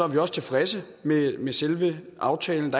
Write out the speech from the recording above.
vi også tilfredse med med selve aftalen